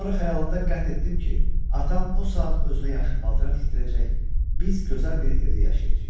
Sonra xəyalımda qət etdim ki, atam o saat özünə yaxşı paltar tikdirəcək, biz gözəl bir evdə yaşayacağıq.